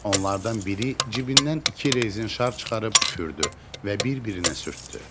Onlardan biri cibindən iki rezin şar çıxarıb üfürdü və bir-birinə sürtdü.